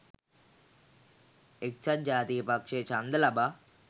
එක්සත් ජාතික පක්ෂය ඡන්ද ලබා